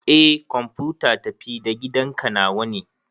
Eh kwamfuta tafi-da-gidanka nawa ne.